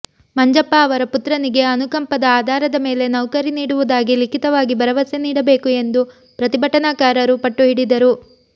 ಮಂಜಪ್ಪ ಅವರ ಪುತ್ರನಿಗೆ ಅನುಕಂಪದ ಆಧಾರದ ಮೇಲೆ ನೌಕರಿ ನೀಡುವುದಾಗಿ ಲಿಖಿತವಾಗಿ ಭರವಸೆ ನೀಡಬೇಕು ಎಂದು ಪ್ರತಿಭಟನಾಕಾರರು ಪಟ್ಟು ಹಿಡಿದರು